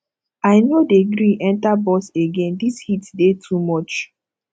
i no dey gree enta bus again dis heat dey too much